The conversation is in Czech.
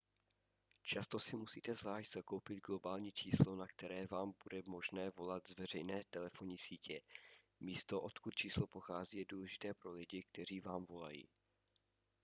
často si musíte zvlášť zakoupit globální číslo na které vám bude možné volat z veřejné telefonní sítě místo odkud číslo pochází je důležité pro lidi kteří vám volají